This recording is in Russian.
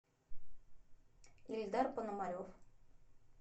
эльдар пономарев